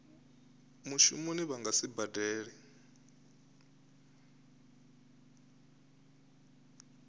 mushumoni vha nga si badele